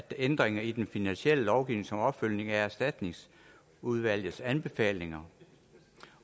ændringer i den finansielle lovgivning som opfølgning på erstatningsudvalgets anbefalinger